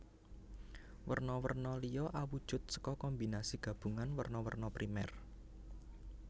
Werna werna liya awujud saka kombinasi gabungan werna werna primer